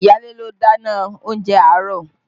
Iyaale ló dáná oúnjẹ àárọ̀